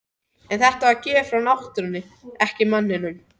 En þetta er gjöf frá náttúrunni en ekki manninum.